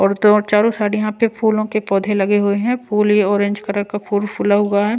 और दो चारों साइड यहां पे फूलों के पौधे लगे हुए हैं फूल ये ऑरेंज कलर का फूल फूला हुआ हैं।